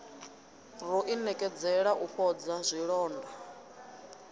ro inekedzela u fhodza zwilonda